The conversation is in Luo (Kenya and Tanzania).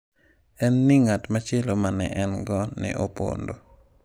En ni ng’at machielo ma ne en-go ne opondo.